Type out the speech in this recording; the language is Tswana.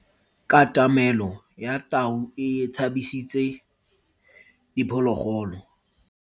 Katamelo ya tau e tshabisitse diphologolo.